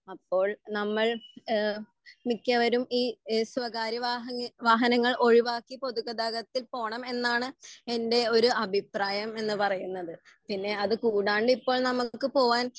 അപ്പോൾ നമ്മൾ ഏഹ് മിക്കവരും ഈ ഇഹ് സ്വകാര്യ വാഹന ഈ വാഹനങ്ങൾ ഒഴിവാക്കി പൊതുഗതാഗത്തിൽ പോണം എന്നാണ് എൻ്റെ ഒരു അഭിപ്രായം എന്ന് പറയുന്നത് പിന്നെ അത് കൂടാണ്ട് ഇപ്പോൾ നമ്മുക്ക് പോവാൻ